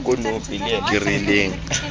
kerileng